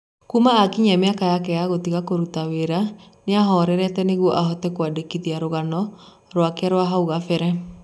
Kuuma akinyia mĩaka yake ya gũtiga kũruta wĩra nĩahorerete nĩguo ahote kũandĩithia Rũgano rwake rwa hau gabere.